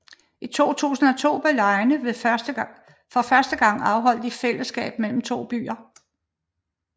I 2002 blev legene for første gang afholdt i fællesskab mellem to byer